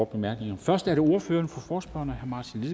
bemærkninger først er det ordføreren for forespørgerne herre martin